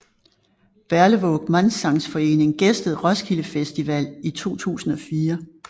Berlevåg Mannssangsforening gæstede Roskilde Festival i 2004